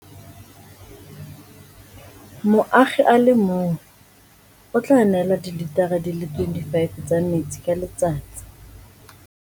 Moagi a le mongwe o tla neelwa dilitara di le 25 tsa metsi ka letsatsi.